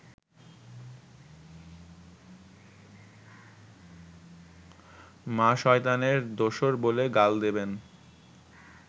মা শয়তানের দোসর বলে গাল দেবেন